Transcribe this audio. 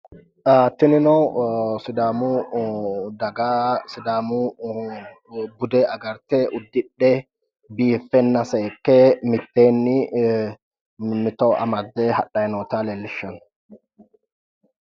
Tinino sidaamu daga sidaamu bude agarte uddidhe biiffenna seekke mitteenni mimmito amadde hadhayi noota leellishshanno.